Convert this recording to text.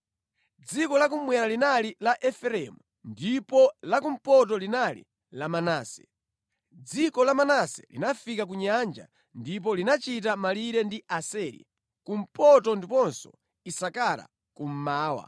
Dziko la kummwera linali la Efereimu ndipo la kumpoto linali la Manase. Dziko la Manase linafika ku nyanja ndipo linachita malire ndi Aseri, kumpoto ndiponso Isakara, kummawa.